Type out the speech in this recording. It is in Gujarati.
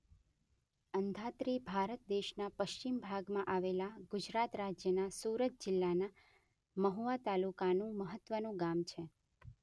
અંધાત્રી ભારત દેશના પશ્ચિમ ભાગમાં આવેલા ગુજરાત રાજ્યના સુરત જિલ્લાના મહુવા તાલુકાનું મહત્વનું ગામ છે.